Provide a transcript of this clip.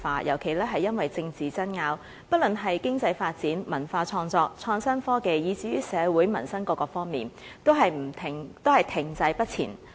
尤其是因為政治爭拗，香港在經濟發展、文化創作、創新科技，以至於社會民生各方面，均停滯不前。